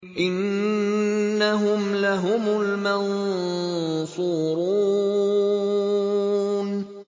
إِنَّهُمْ لَهُمُ الْمَنصُورُونَ